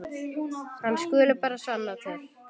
Hann skuli bara sanna til.